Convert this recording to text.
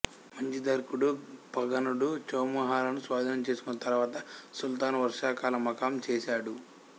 మచిందర్గడు పన్గడు చౌముహాలను స్వాధీనం చేసుకున్న తరువాత సుల్తాను వర్షాకాల మకాం చేశాడు